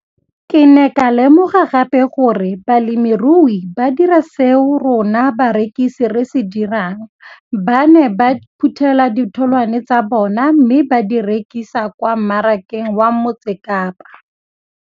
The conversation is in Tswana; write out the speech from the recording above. Ke ne ka lemoga gape gore balemirui ba dira seo rona barekisi re se dirang, ba ne ba phuthela ditholwana tsa bona mme ba di rekisa kwa marakeng wa Motsekapa.